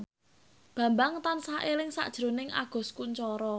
Bambang tansah eling sakjroning Agus Kuncoro